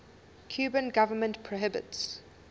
cuban government prohibits